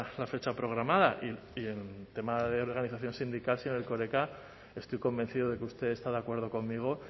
la fecha programada y en tema de organización sindical señor erkoreka estoy convencido de que usted está de acuerdo conmigo